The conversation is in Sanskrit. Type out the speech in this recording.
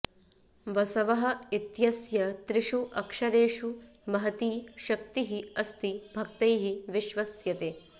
बसवः इत्यस्य त्रिषु अक्षरेषु महती शक्तिः अस्ति भक्तैः विश्वस्यते